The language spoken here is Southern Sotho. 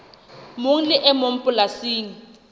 mong le e mong polasing